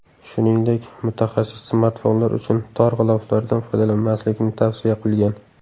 Shuningdek, mutaxassis smartfonlar uchun tor g‘iloflardan foydalanmaslikni tavsiya qilgan.